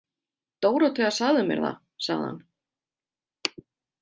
Dórótea sagði mér það, sagði hann.